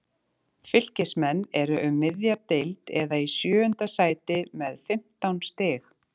Fylkismenn eru um miðja deild eða í sjöunda sæti með fimmtán stig.